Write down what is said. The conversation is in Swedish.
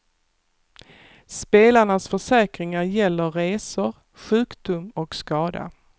Spelarnas försäkringar gäller resor, sjukdom och skada.